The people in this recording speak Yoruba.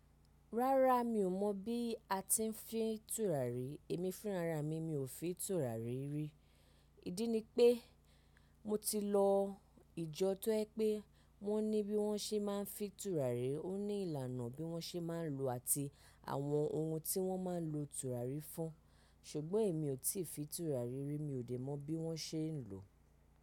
Rárá mi ò mọ̀ bí a ti ń fi tùràrí, èmi fúnra ra mi, mi ò fi tùràrí rí. Ìdí ni pé, mo ti lọ ìjọ tó jẹ́ pé wọ́n ní bí wọ́n ṣe máa ń fi tùràrí, ó ní ìlànà bí wọ́n ṣe máa ń lò ó àti àwọn ohun tí wọ́n máa ń lo tùràrí fún. Sugbo emi o ti fi turari ri, mi o de mo bi won se lo.